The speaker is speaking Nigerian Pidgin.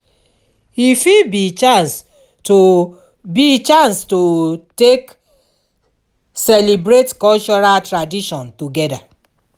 e fit bi chance to bi chance to take celibrate cultural tradition togeda